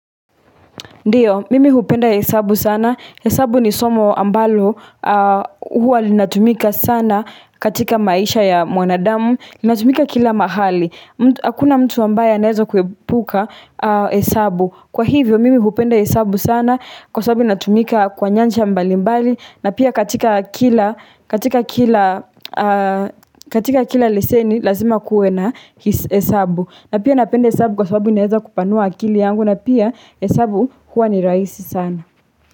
Ndiyo, mimi hupenda hesabu sana, hesabu ni somo ambalo huwa linatumika sana katika maisha ya mwanadamu, linatumika kila mahali, hakuna mtu ambaye anaweza kuepuka hesabu. Kwa hivyo, mimi hupenda hesabu sana, kwa sababu inatumika kwa nyanja mbalimbali, na pia katika kila, katika kila, katika kila leseni, lazima kuwe na hesabu. Na pia napenda hesabu kwa sababu inaweza kupanua akili yangu na pia hesabu huwa ni rahisi sana.